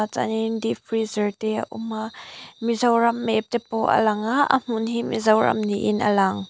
chuan in deep freezer te a awm a mizoram map te pawh a lang a a hmun hi mizoram niin a lang.